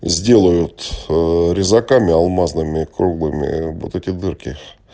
сделают резаками алмазными круглыми вот эти дырки